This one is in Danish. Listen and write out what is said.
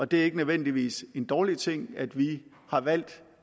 det er ikke nødvendigvis en dårlig ting at vi har valgt